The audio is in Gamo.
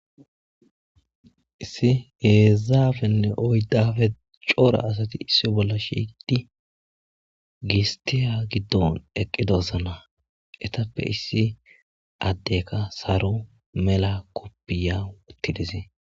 issi hedzdzapene oydape c'ora asati issi bolla shiqidi gista gidon eqidosona etape issi adeka saro mela kopiya eki dees